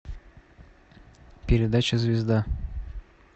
передача звезда